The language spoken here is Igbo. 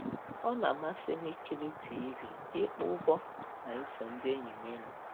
Ọ na-amasị m ikiri TV, ịkpọ ụbọ, na iso ndị enyi m ịnọ